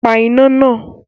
Pa iná náà!